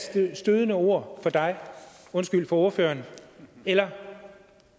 stødende ord for ordføreren eller